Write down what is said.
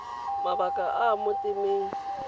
mabaka a a mo temeng